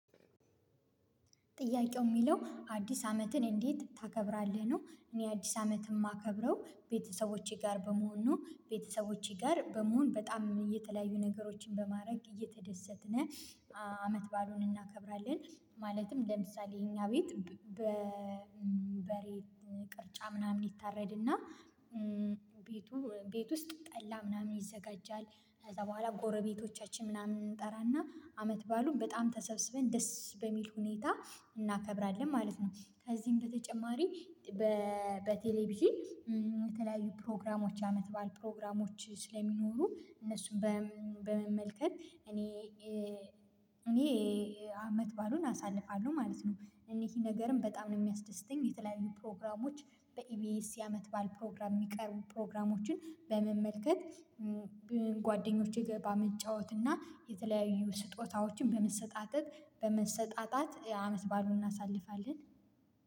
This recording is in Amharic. ጥያቄው የሚለው አዲስ አመትን እንዴት ታከብራለህ ነው? እኔ አዲስ አመት የማከብረው ቤተሰቦቼ ጋር በመሆን ቤተሰቦቼ ጋር በመሆን በጣም እየተለያዩ ነገሮችን በማድረግ እየተደሰትን አመት ባሉን እናከብራለን። ማለትም ለምሳሌ የኛ ቤት በሬ ቅርጫ ምናምን ይታረድና ቤቱ ቤት ውስጥ ጠላ ምናምን ይዘጋጃል። ከዛ በኋላ ጎረቤቶቻችን ምናምን እንጠራና አመት ባሉን በጣም ተሰብስበን ደስ በሚል ሁኔታ እናከብራለን ማለት ነው። ከዚህም በተጨማሪ በቴሌቪዥን የተለያዩ ፕሮግራሞች አመት ባል ፕሮግራሞች ስለሚኖሩ እነሱን በመመልከት እኔ እኔ አመት ባሉን አሳልፋለሁ ማለት ነው። እኔ ይሄ ነገርም በጣም ነው የሚያስደስተኝ የተለያዩ ፕሮግራሞች በኢቢኤስ የአመት ባል ፕሮግራም የሚቀርቡ ፕሮግራሞችን በመመልከት ገባ መጫወት እና የተለያዩ ስጦታዎችን በመሰጣጠት በመሰጣጣት አመት ባሉን እናሳልፋለን።